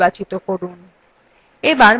এবার mouseএর বাম button ছেড়ে দিন